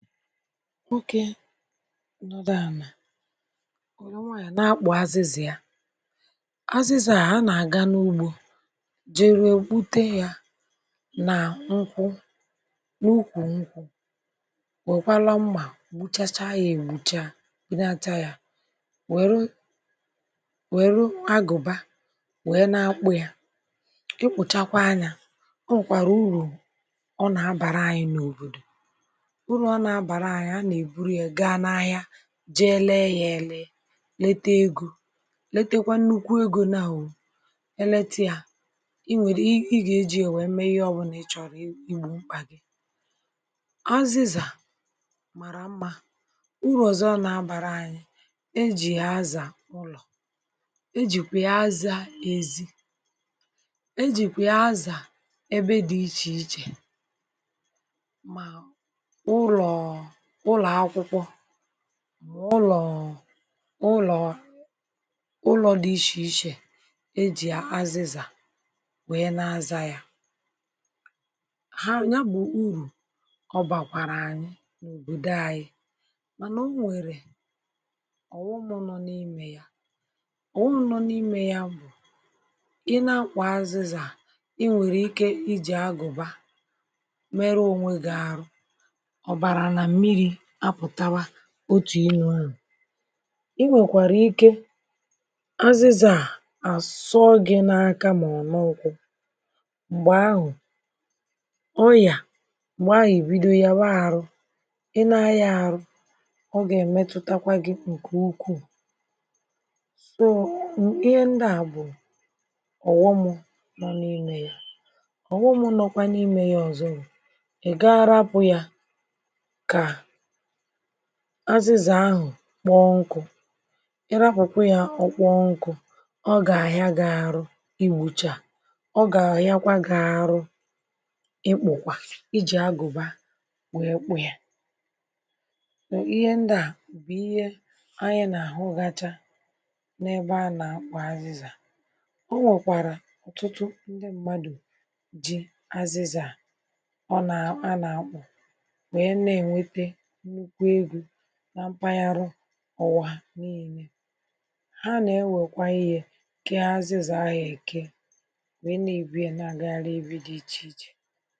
Nwokē nọdụ ànà wère nwayò nà-akpụ̀ azịzà ya azịzà a anà-àga n’ugbō jerue gbute ya na nkwụ n’ukwù nkwụ̄ nwèkwara mmà gbuchachaa ègbucha bulata ya nwèru nwèru agụ̀ba nwee na-akpụ̀ ya ịkpụ̀chakwaa nyā o nwèkwàrà urù ọ nà-abàra ànyị n’òbòdò urù ọ nà-abàra ànyị a nà-èburu ya ga n’ahịa jee lee ya èle lete egō letekwa nnukwu egō nawụ eletiā i nwèrie ị gà-èjie wee mee ihe ọbụlà ị chọ̀rọ̀ i gbū mkpà gị azịzà màra mmā urù ọzọ̄ ọ nà-àbàra anyị̄ e jì ya azà ụlọ̀ e jìkwià azà ezī ejìkwia azà ebe dị ichèichè ma ụlọ̀ ụlọ̀akwụkwọ ma ụlọ̀ ụlọ̀ ụlọ̀ di ichè ichè e jì azịzà wee na-azà ya ha nyabụ̀ urù ọ bàkwààrà ànyị n’òbòdò ànyị mànà o nwèrè ọ̀ghọm̄ nọ n’imē ya ọ̀ghọm̄ nọ n’imē bụ̀ ị nà-akpụ̀ azịzà ị nwèrè ike ijī agụ̀ba meruo ònwe gi àrụ ọ̀bàrà nà mmirī apụ̀tawa otù irū ahụ̀ e nwèkwàrà ike azịzà a àsọọ gị n’aka mọ n’ụkwụ m̀gbè ahụ̀ ọyà m̀gbè ahụ̀ ìbido yàwa arụ̄ ì na-ayà arụ̄ ọ gà-èmetutakwa gị ǹkè ukwuu so ihe ndịa bụ̀ ọ̀ghọmụ̄ nọ n’imē ya ọ̀ghọm̄ nokwa n’ime ya ọzọ bụ̀ ìgaa arapụ̀ ya kà azịzà ahụ̀ kpọọ nkụ̄ ị rapụ̀kwa ya ọkpọọ nkụ̄ ọ gà-àhịa gi àrụ igbūchā ọ gà-àhịakwa arụ ịkpụ̀kwà ijī agụ̀ba wee kpụ yā ihe ndi a bụ̀ ihe ndi àyi nà-àhụgasị n’ebe à na-akpà azịzà o nwèkwàrà ọ̀tụtụ ndi mmadụ̀ ji azịzà ọ nà a nà-akpụ̀ wee na-ènwete nnukwu egō na mpaghara ụwà niilē ha na-ewèkwa ihe kee azịzà ahụ̀ èke wee na-èbue na-àgagarị ebe di ichèichè